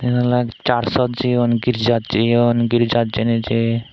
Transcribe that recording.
iyan ole church ot jeyun girijat jeyun jirjat jey ni jey.